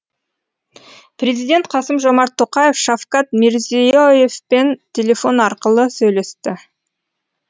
президент қасым жомарт тоқаев шавкат мирзие евпен телефон арқылы сөйлесті